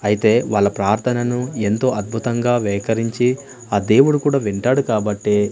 అయితే వాళ్ల ప్రార్థనను ఎంతో అద్భుతంగా వేకరించి ఆ దేవుడు కూడా వింటాడు కాబట్టే--